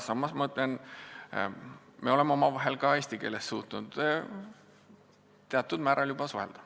Samas ma ütlen, et me oleme omavahel ka eesti keeles suutnud juba teatud määral suhelda.